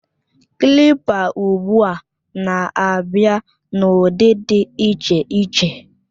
Klịpa ugbu a na-abịa n'ụdị dị iche iche